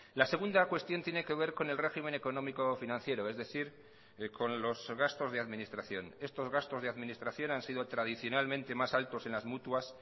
la segunda cuestión tiene que ver con el régimen económico financiero es decir con los gastos de administración estos gastos de administración han sido tradicionalmente más altos en las mutuas